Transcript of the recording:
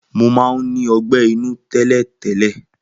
Mo mán ní ogbé inú télètélè